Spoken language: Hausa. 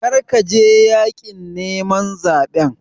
Kar ka je yaƙin neman zaɓen!